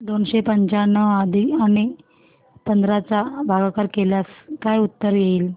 दोनशे पंच्याण्णव आणि पंधरा चा भागाकार केल्यास काय उत्तर येईल